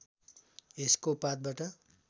यसको पातबाट